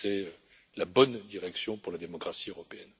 C'est la bonne direction pour la démocratie européenne.